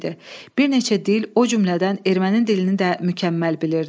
Bir neçə dil, o cümlədən erməni dilini də mükəmməl bilirdi.